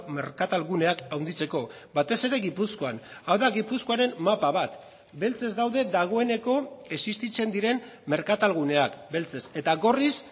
merkatal guneak handitzeko batez ere gipuzkoan hau da gipuzkoaren mapa bat beltzez daude dagoeneko existitzen diren merkatal guneak beltzez eta gorriz